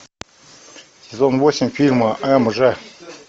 сезон восемь фильма м ж